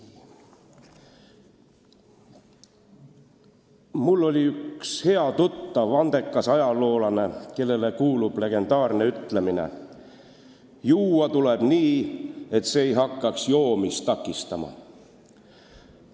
Mul oli üks hea tuttav, andekas ajaloolane, kellele kuulub legendaarne ütlemine, et juua tuleb nii, et see ei hakkaks joomist takistama.